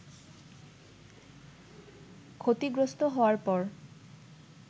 ক্ষতিগ্রস্ত হওয়ার পর